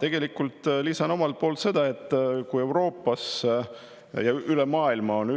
Tegelikult ma lisan omalt poolt seda, et Euroopas ja üle maailma on